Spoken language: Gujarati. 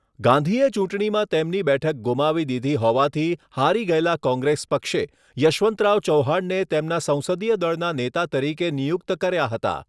ગાંધીએ ચૂંટણીમાં તેમની બેઠક ગુમાવી દીધી હોવાથી હારી ગયેલા કૉંગ્રેસ પક્ષે યશવંતરાવ ચૌહાણને તેમના સંસદીય દળના નેતા તરીકે નિયુક્ત કર્યા હતા.